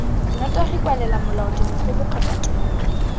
nnotagi kwalela molaodimogolo kgotsa tona